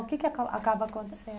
O que que acaba acaba acontecendo?